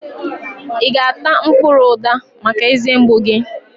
I ga-ata mkpụrụ uda maka eze mgbu gị?